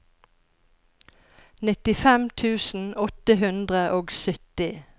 nittifem tusen åtte hundre og sytti